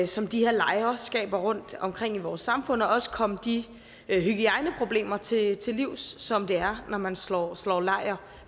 som de her lejre skaber rundtomkring i vores samfund og også komme de hygiejneproblemer til til livs som det er når man slår slår lejr